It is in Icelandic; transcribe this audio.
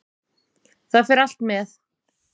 Það fer allt með.